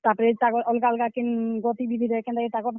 ତାପ୍ ରେ ତାକର୍ ଅଲ୍ ଗା ଅଲ୍ ଗା କେନ୍ ଗତିବିଧିରେ କେନ୍ତା କିରି ତାକର୍।